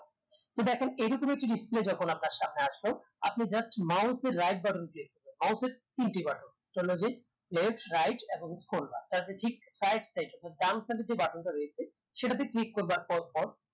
তো দেখেন এরকম একটি display যখন আপনার সামনে আসলো আপনি just mouse এর right button click করবেন mouse এর তিনটি button left right এবং scroll bar তো আপনি ঠিক right side অথবা ডান side এর যে button টা রয়েছে সেটাতে click করবার পর পর